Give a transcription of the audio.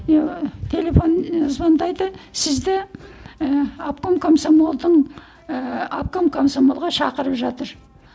телефон ы звондайды сізді ііі обком комсомолдың ііі обком комсомолға шақырып жатыр